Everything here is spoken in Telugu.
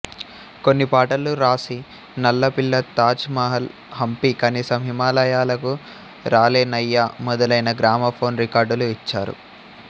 కొన్ని పాటలు రాసి నల్లపిల్ల తాజ్ మహల్ హంపి కనీసం హిమాలయాలకు రాలేనయ్యా మొదలైన గ్రామఫోన్ రికార్డులు ఇచ్చారు